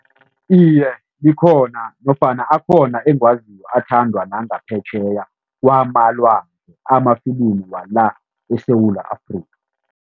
Iye, likhona nofana akhona engiwaziko athandwa nangaphetjheya kwamalwandle amafilimi wala eSewula Afrika.